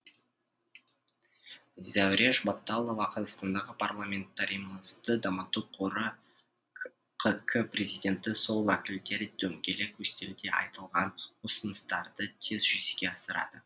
зәуреш батталова қазақстандағы парламентаризмді дамыту қоры қк президенті сол уәкілдер дөңгелек үстелде айтылған ұсыныстарды тез жүзеге асырады